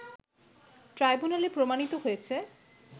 ট্রাইব্যুনালে প্রমাণিত হয়েছে